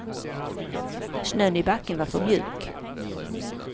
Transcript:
Snön i backen var för mjuk.